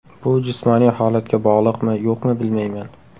Bu jismoniy holatga bog‘liqmi, yo‘qmi bilmayman.